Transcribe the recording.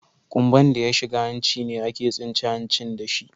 Kumba'n da ya shiga hanci ne ake tsince hancin da shi.